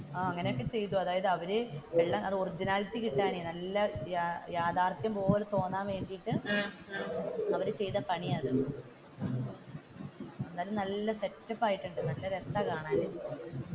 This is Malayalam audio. ആഹ് അങ്ങനെയൊക്കെ ചെയ്തു അതായത് അവർ ഒറിജിനാലിറ്റി കിട്ടാനേ നല്ല യാഥാർഥ്യം പോലെ തോന്നാൻ വേണ്ടിയിട്ട് അവർ ചെയ്ത പണിയാണ് അത് എന്തായാലും നല്ല സെറ്റ് അപ്പ് ആയിട്ടുണ്ട്. നല്ല രസമാണ് കാണാൻ